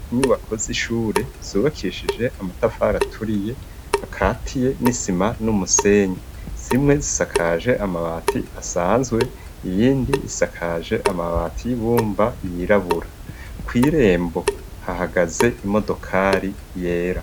inyubako z'ishure zubakishije amatafari aturiye akatiye n'isima n'umusenyi zimwe zisakaje amabati asanzwe iyindi isakaje amabati y'ibumba yirabura, kw'irembo hahagaze imodokari yera.